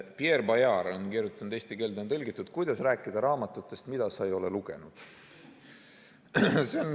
Pierre Bayard on kirjutanud ja eesti keelde on tõlgitud "Kuidas rääkida raamatutest, mida me pole lugenud".